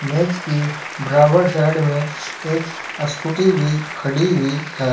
मेज के बराबर साइड में एक स्कूटी भी खड़ी हुई है।